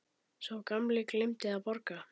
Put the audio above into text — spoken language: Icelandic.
Sá gamli gleymdi að borga.